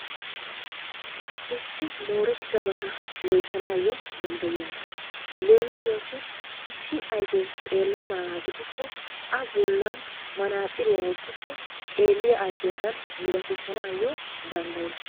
Issi mooretidabata loyttanayyo danddayiyyaaga. leemissuwassi issi ayfe xeellenaaga gidikko a bollan manaxiriyaa wottikko xeelliya ayfiyaadan milaatissanayyo danddayyees.